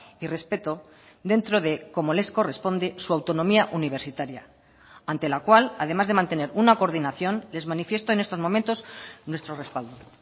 y respeto dentro de como les corresponde su autonomía universitaria ante la cual además de mantener una coordinación les manifiesto en estos momentos nuestro respaldo